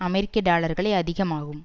அமெரிக்க டாலர்களை அதிகமாகும்